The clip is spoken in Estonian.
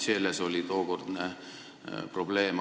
Selles oli tookordne probleem.